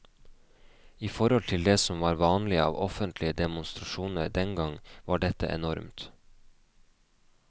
I forhold til det som var vanlig av offentlige demonstrasjoner dengang, var dette enormt.